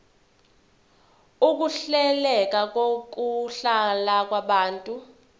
ukuhleleka kokuhlala kwabantu